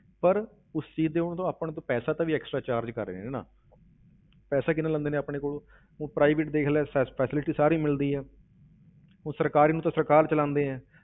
ਪਰ ਉਸ ਚੀਜ਼ ਤੇ ਉਹ ਆਪਣੇ ਤੋਂ ਪੈਸਾ ਵੀ ਤਾਂ extra charge ਕਰ ਰਹੇ ਨੇ ਨਾ ਪੈਸਾ ਕਿੰਨਾ ਲੈਂਦੇ ਨੇ ਆਪਣੇ ਕੋੋਲੋਂ ਹੁਣ private ਦੇਖ ਲੈ ਸ~ speciality ਸਾਰੀ ਮਿਲਦੀ ਹੈ ਉਹ ਸਰਕਾਰੀ ਨੂੰ ਤਾਂ ਸਰਕਾਰ ਚਲਾਉਂਦੇ ਹੈ,